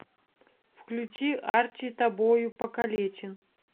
включи арчи тобою покалечен